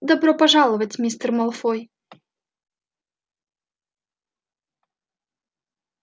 добро пожаловать мистер малфой